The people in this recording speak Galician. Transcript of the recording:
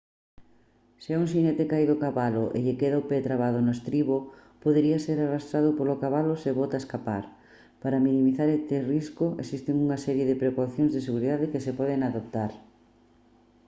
se un xinete cae do cabalo e lle queda o pé trabado no estribo podería ser arrastrado polo cabalo se bota a escapar para minimizar este risco existen unha serie de precaucións de seguridade que se poden adoptar